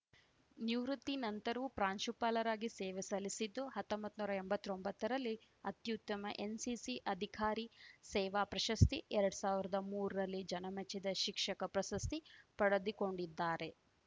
ನಿವೃತ್ತಿ ನಂತರವೂ ಪ್ರಾಂಶುಪಾಲರಾಗಿ ಸೇವೆ ಸಲ್ಲಿಸಿದ್ದು ಹತ್ತೊಂಬತ್ ನೂರಾ ಎಂಬತ್ತೊಂಬತ್ತರಲ್ಲಿ ಅತ್ಯುತ್ತಮ ಎನ್‌ಸಿಸಿ ಅಧಿಕಾರಿ ಸೇವಾ ಪ್ರಶಸ್ತಿ ಎರಡ್ ಸಾವಿರ್ದಾ ಮೂರಲ್ಲಿ ಜನಮೆಚ್ಚಿದ ಶಿಕ್ಷಕ ಪ್ರಶಸ್ತಿ ಪಡೆದಿಕೊಂಡಿದ್ದಾರೆ